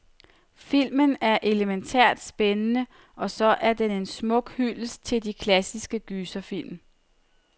Filmen er elemæntært spændende, og så er den en smuk hyldest til de klassiske gyserfilm.